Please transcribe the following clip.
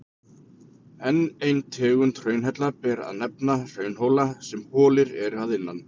Enn eina tegund hraunhella ber að nefna, hraunhóla sem holir eru innan.